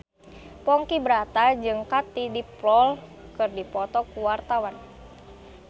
Ponky Brata jeung Katie Dippold keur dipoto ku wartawan